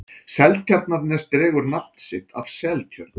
seltjarnarnes dregur nafn sitt af seltjörn